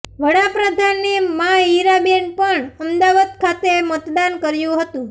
વડાપ્રધાને માં હીરાબેને પણ અમદાવાદ ખાતે મતદાન કર્યું હતું